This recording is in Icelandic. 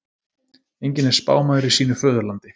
Enginn er spámaður í sínu föðurlandi.